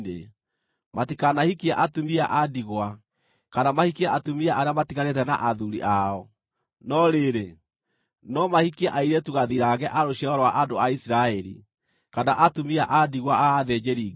Matikanahikie atumia a ndigwa, kana mahikie atumia arĩa matiganĩte na athuuri ao; no rĩrĩ, no mahikie airĩtu gathirange a rũciaro rwa andũ a Isiraeli, kana atumia a ndigwa a athĩnjĩri-Ngai.